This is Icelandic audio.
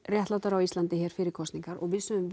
réttlátara á Íslandi hér fyrir kosningar og við sögðum